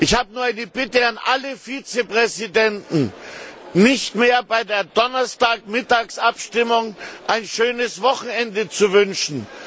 Ich habe nur die eine Bitte an alle Vizepräsidenten, nicht mehr bei der Donnerstagmittags Abstimmung ein schönes Wochenende zu wünschen.